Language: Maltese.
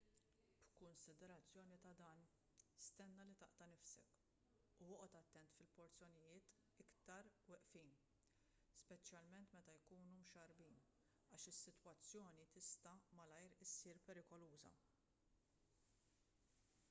b'kunsiderazzjoni ta' dan stenna li taqta' nifsek u oqgħod attent fil-porzjonijiet iktar weqfin speċjalment meta jkunu mxarrbin għax is-sitwazzjoni tista' malajr issir perikoluża